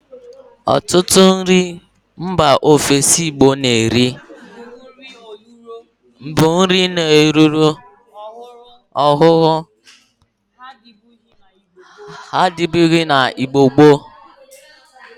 Otutu nri mba ofesi Igbo na-eri bu nri ọlụrọ ọhuru; ha adibughi na Igbo gboo.